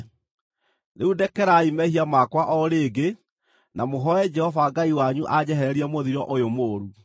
Rĩu ndekerai mehia makwa o rĩngĩ na mũhooe Jehova Ngai wanyu anjehererie mũthiro ũyũ mũũru.”